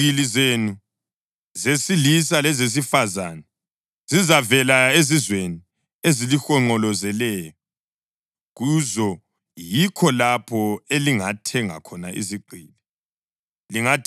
Iziqgili zenu zesilisa lezesifazane zizavela ezizweni ezilihonqolezeleyo; kuzo yikho lapho elingathenga khona izigqili.